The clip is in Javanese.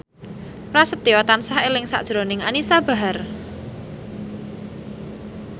Prasetyo tansah eling sakjroning Anisa Bahar